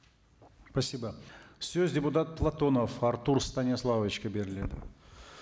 спасибо сөз депутат платонов артур станиславовичке беріледі